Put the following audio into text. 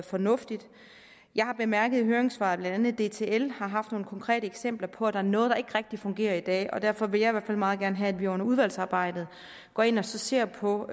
fornuftigt jeg har bemærket i høringssvarene at blandt andet dtl har haft nogle konkrete eksempler på at der er noget der ikke rigtig fungerer i dag og derfor vil jeg i hvert fald meget gerne have at vi under udvalgsarbejdet går ind og ser på